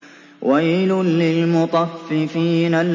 وَيْلٌ لِّلْمُطَفِّفِينَ